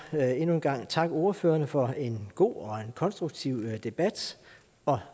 endnu en gang takke ordførerne for en god og konstruktiv debat og